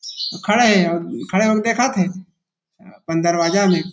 खड़े हे अउ खड़े हो के देखत थे अपन दरवाजा में।